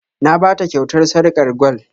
Na ba ta kyautar sarƙar gwal